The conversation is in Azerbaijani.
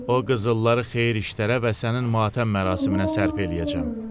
O qızılları xeyir işlərə və sənin matəm mərasiminə sərf eləyəcəm.